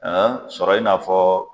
Aa sɔrɔ in'a fɔɔ